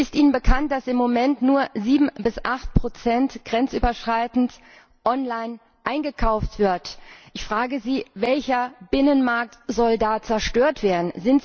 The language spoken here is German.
Ist Ihnen bekannt, dass im Moment nur 7 bis 8 grenzüberschreitend online eingekauft wird? Ich frage Sie Welcher Binnenmarkt soll da zerstört werden?